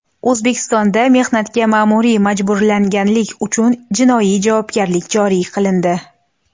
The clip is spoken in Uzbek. O‘zbekistonda mehnatga ma’muriy majburlaganlik uchun jinoiy javobgarlik joriy qilindi.